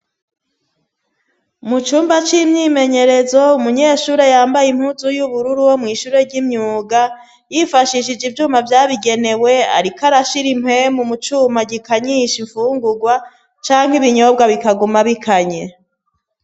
Mu cumba c'imyimenyerezo, umunyeshure yambay' impunzu y'ubururu wo mw' ishure ry'imyuga yifashishije ivyuma vyabigenewe arikw'arashira impwemu mucuma gikanyisha imfungurwa cank' ibinyobwa bikaguma bikanye